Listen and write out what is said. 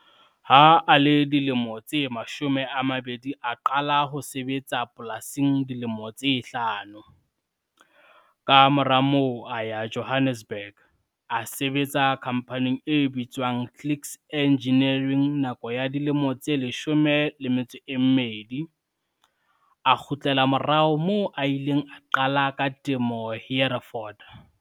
Ha a le dilemo tse 20 a qala ho sebetsa polasing dilemo tse hlano, ka mora moo a ya Johannesburg, a sebetsa khamphaneng e bitswang Clicks Engineering nako ya dilemo tse 12, a kgutlela morao moo a ileng a qala ka temo Hereford.